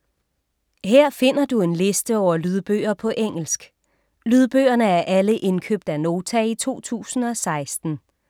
Her finder du en liste over lydbøger på engelsk. Lydbøgerne er alle indkøbt af Nota i 2016.